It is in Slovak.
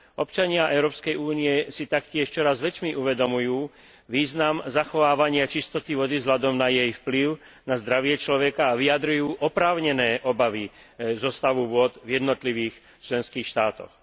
Občania Európskej únie si taktiež čoraz väčšmi uvedomujú význam zachovávania čistoty vody vzhľadom na jej vplyv na zdravie človeka a vyjadrujú oprávnené obavy zo stavu vôd v jednotlivých členských štátoch.